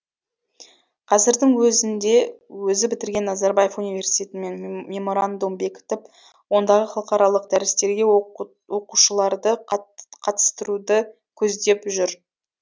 қазірдің өзінде өзі бітірген назарбаев университетімен меморандум бекітіп ондағы халықаралық дәрістерге оқушыларды қатыстыруды көздеп жүр